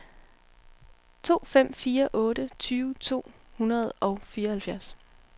to fem fire otte tyve to hundrede og fireoghalvfjerds